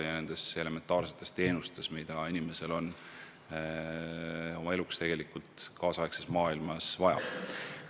Tuleb tagada elementaarsedki teenused, mida inimesel tänapäeva maailmas on eluks vaja.